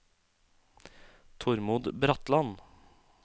Tormod Bratland